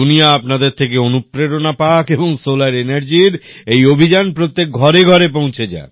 দুনিয়া আপনাদের থেকে অনুপ্রেরণা পাক এবং সোলার এনের্জির এই অভিযান প্রত্যেক ঘরে ঘরে পৌঁছে যাক